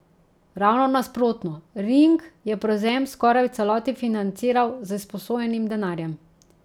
Ravno nasprotno, Ring je prevzem skoraj v celoti financiral z izposojenim denarjem.